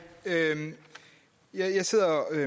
jeg sidder